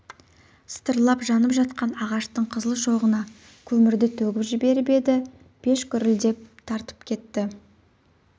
сытырлап жанып жатқан ағаштың қызыл шоғына көмірді төгіп жіберіп еді пеш гүрілдеп тартып әкетті